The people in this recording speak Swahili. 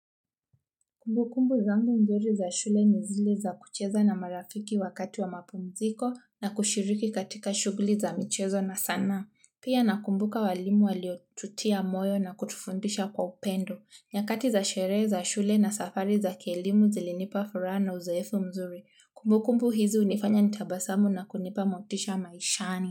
Kumbukumbu zangu nzuri za shule ni zile za kucheza na marafiki wakati wa mapumziko na kushiriki katika shughuli za mchezo na sanaa pia na kumbuka walimu waliotutia moyo na kutufundisha kwa upendo. Nyakati za shere za shule na safari za kielimu zilinipa fura na uzoefu mzuri. Kumbukumbu hizo hunifanya nitabasamu na kunipa motisha maishani.